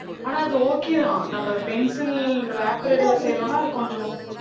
ஆனா அது okay தான் நம்ம pencil wrapper இதுல செய்றோம்னா அது கொஞ்சம்